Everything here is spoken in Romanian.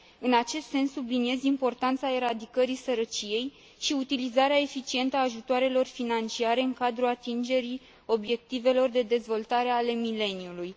În acest sens, subliniez importanța eradicării sărăciei și utilizarea eficientă a ajutoarelor financiare în cadrul atingerii Obiectivelor de dezvoltare ale mileniului.